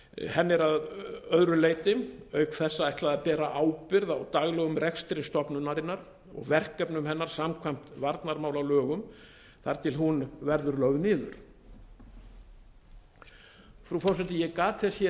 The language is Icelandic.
henni er að öðru leyti auk þessa ætlað að bera ábyrgð á daglegum rekstri stofnunarinnar og verkefnum hennar samkvæmt varnarmálalögum þar til hún verður lögð niður frú forseti ég gat þess hér